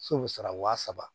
So bi sara wa saba